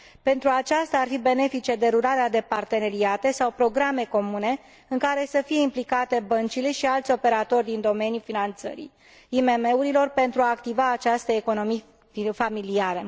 Pentru aceasta ar fi benefice derularea de parteneriate sau programe comune, în care să fie implicate băncile și alți operatori din domeniul finanțării IMM urilor, pentru a activa această economie familială.